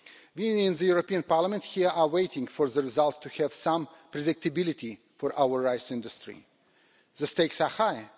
We in the European Parliament here are waiting for the results to have some predictability for our rice industry. The stakes are high.